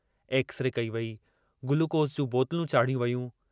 X-ray कई वेई, glucose जूं बोतलूं चाढ़ियूं वेयूं।